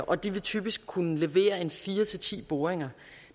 og de vil typisk kunne levere fire ti boringer